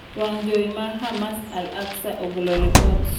wang' jowi ma Hamas al-Aqsa ogolo lipot.